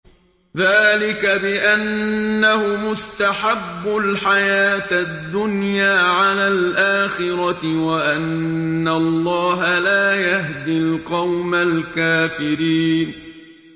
ذَٰلِكَ بِأَنَّهُمُ اسْتَحَبُّوا الْحَيَاةَ الدُّنْيَا عَلَى الْآخِرَةِ وَأَنَّ اللَّهَ لَا يَهْدِي الْقَوْمَ الْكَافِرِينَ